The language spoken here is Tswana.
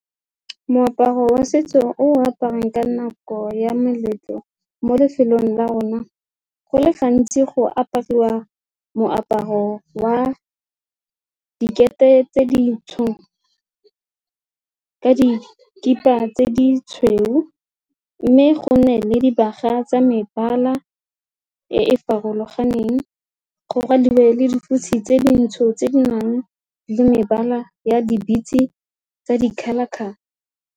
Moaparo wa setso o aparang ka nako ya meletlo mo lefelong la rona go le gantsi go apariwa moaparo wa dikete tse di ka dikhipa tse ditshweu mme go ne le dibaga tsa mebala e e farologaneng go ra dingwe le dikotsi tse dintsho tse di nang le mebala ya di-beats-e tsa di-colour-colour.